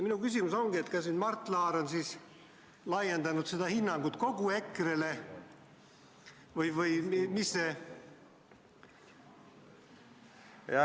Minu küsimus ongi, kas Mart Laar on laiendanud seda hinnangut kogu EKRE-le või mis see ...